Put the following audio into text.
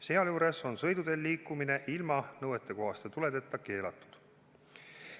Sealjuures on sõiduteel liikumine ilma nõuetekohaste tuledeta keelatud.